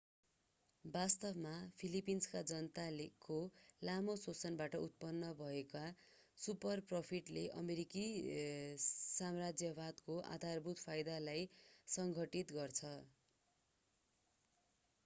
वास्तवमा फिलिपिन्सका जनताको लामो शोषणबाट उत्पन्न भएका सुपरप्रोफिटले अमेरिकी साम्राज्यवादको आधारभूत फाइदालाई संघटित गर्छन्